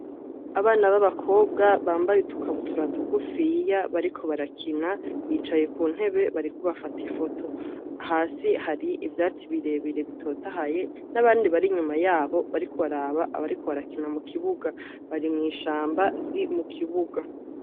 Abana babakobwa bambaye udukabutura tugufiya bariko barakina bicaye kuntebe bariko bafata ifoto hasi hari ivyatsi birebire bitotaye nabandi bari inyuma yabo bariko baraba abariko barakina mukibuga bari mwishamba riri mukibuga